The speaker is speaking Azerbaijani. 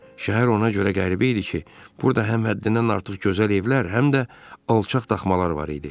Şəhər ona görə qəribə idi ki, burda həm həddindən artıq gözəl evlər, həm də alçaq daxmalar var idi.